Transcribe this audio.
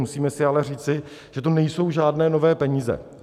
Musíme si ale říci, že to nejsou žádné nové peníze.